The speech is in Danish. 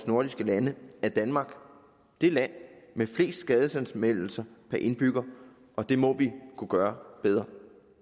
nordiske lande er danmark det land med flest skadesanmeldelser per indbygger og det må vi kunne gøre bedre